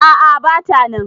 A`a bata nan